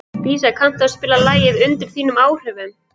Dísa, kanntu að spila lagið „Undir þínum áhrifum“?